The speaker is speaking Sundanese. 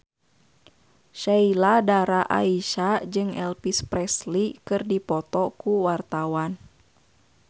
Sheila Dara Aisha jeung Elvis Presley keur dipoto ku wartawan